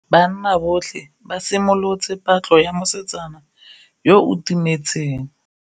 Banna botlhê ba simolotse patlô ya mosetsana yo o timetseng.